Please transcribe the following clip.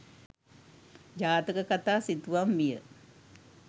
ජාතක කතා සිතුවම් විය.